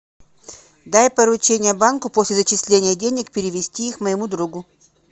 дай поручение банку после зачисления денег перевести их моему другу